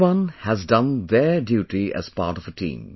Everyone has done their duty as part of a team